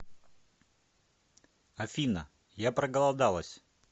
афина я проголодалась